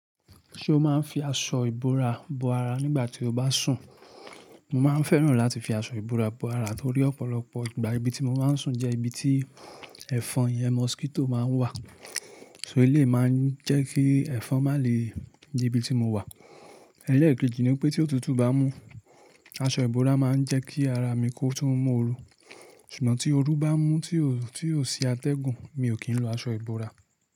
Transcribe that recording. Ṣé o máa ń fi aṣọ ìbora bo ara nígbà tí o bá sùn? Mo máa ń fẹ́ràn láti fi aṣọ ìbora bo ara torí ọ̀pọ̀lọpọ̀ ìgbà ibi tí mo máa ń sùn jẹ́ ibi tí ẹ̀fọn yẹn mosquito máa ń wà. So ilé máa ń jẹ́ kí ẹ̀fọn má lè di ibi tí mo wà. Ẹ̀lẹkejì ni pé tí òtútù bá mú, aṣọ ìbora máa ń jẹ́ kí ara mi kó tún mú oru. Ṣùgbọ́n tí oru bá mú tí ó, tí ó sì atẹ́gùn mi ò kí ń lo aṣọ ìbora.